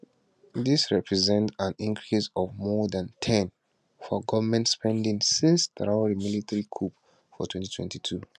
dis represents an increase of more dan ten for goment spending since traor military coup for 2022